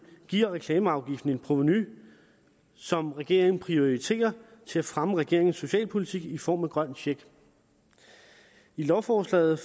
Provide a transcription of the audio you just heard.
giver reklameafgiften et provenu som regeringen prioriterer til at fremme regeringens socialpolitik i form af grøn check i lovforslaget